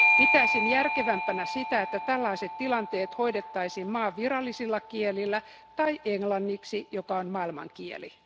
Pitäisin järkevämpänä sitä, että tällaiset tilanteet hoidettaisiin maan virallisilla kielillä tai englanniksi, joka on maailmankieli.